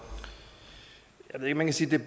med sit